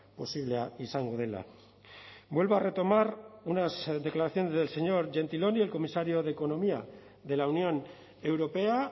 posiblea izango dela vuelvo a retomar unas declaraciones del señor gentiloni el comisario de economía de la unión europea